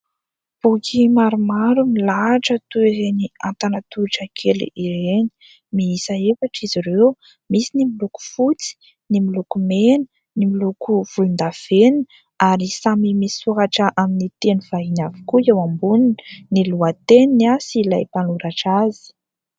Boky maromaro milahatra toy ireny antanatohitra kely ireny, miisa efatra izy ireo : misy ny miloko fotsy, ny miloko mena, ny miloko volondavenina ary samy misoratra amin'ny teny vahiny avokoa eo ambonin'ny lohateniny sy ilay mpanoratra azy.